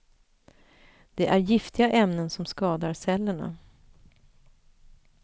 Det är giftiga ämnen som skadar cellerna.